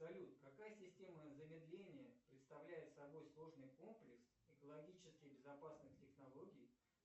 салют какая система замедления представляет собой сложный комплекс экологически безопасных технологий